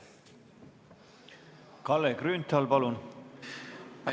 Kalle Grünthal, palun!